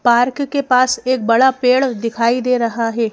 Park के पास एक बड़ा पेड़ दिखाई दे रहा है।